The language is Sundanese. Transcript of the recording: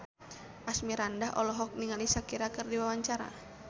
Asmirandah olohok ningali Shakira keur diwawancara